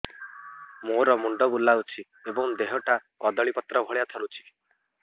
ମୋର ମୁଣ୍ଡ ବୁଲାଉଛି ଏବଂ ଦେହଟା କଦଳୀପତ୍ର ଭଳିଆ ଥରୁଛି